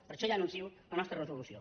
per això ja anuncio la nostra resolució